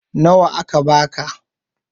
Nawa aka ba ka?